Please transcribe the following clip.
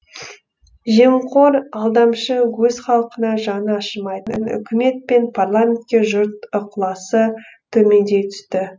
жемқор алдамшы өз халқына жаны ашымайтын үкімет пен парламентке жұрт ықыласы төмендей түсті